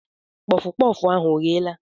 Kpọf kpọf ahụ ọ gheela?